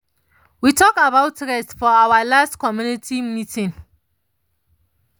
we talk about taking rest for awa last community meeting